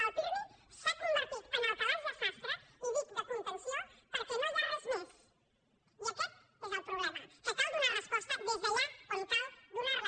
el pirmi s’ha convertit en el calaix de sastre i dic de contenció perquè no hi ha res més i aquest és el problema que cal donar resposta des d’allà on cal donar la